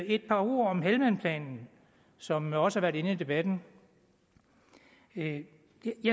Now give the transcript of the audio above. et par ord om helmandplanen som også har været inde i debatten jeg